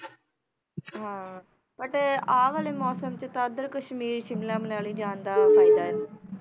ਹਾਂ but ਆਹ ਵਾਲੇ ਮੌਸਮ 'ਚ ਤਾਂ ਉੱਧਰ ਕਸ਼ਮੀਰ ਸ਼ਿਮਲਾ, ਮਨਾਲੀ ਜਾਣ ਦਾ ਫ਼ਾਇਦਾ ਹੈ,